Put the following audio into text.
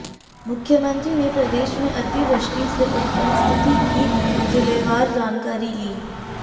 मुख्यमंत्री ने प्रदेश में अति वृष्टि से उत्पन्न स्थिति की जिलेवार जानकारी ली